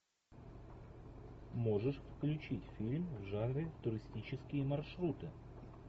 можешь включить фильм в жанре туристические маршруты